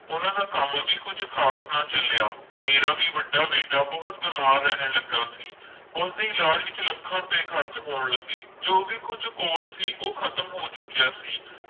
ਉਹਨਾਂ ਦਾ ਕੰਮ ਵੀ ਕੁੱਝ ਖ਼ਾਸ ਨਾ ਚੱਲਿਆ ਮੇਰਾ ਵੀ ਵੱਡਾ ਬੇਟਾ ਬਹੁਤ ਬਿਮਾਰ ਰਹਿਣ ਲੱਗਾ ਸੀ, ਉਸਦੇ ਇਲਾਜ਼ ਵਿੱਚ ਲੱਖਾਂ ਰੁਪਏ ਖ਼ਰਚ ਹੋਣ ਲੱਗੇ ਜੋ ਵੀ ਕੁੱਝ ਕੋਲ ਸੀ ਉਹ ਖ਼ਤਮ ਹੋ ਚੁੱਕਿਆ ਸੀ।